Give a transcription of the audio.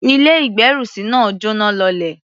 Ilé-ìgbérùsí náà jọ́náh lọlẹ̀.